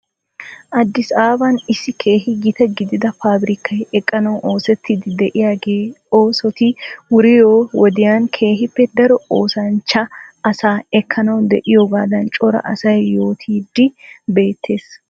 Addis ababan issi keehi gita gidida paabrikkay eqqanawu oosettiidi diyaagee oosetti wuriyoo wodiyan keehippe daro oosanchcha asaa ekkanawh diyoogaadan cora asay yootiidi beettes.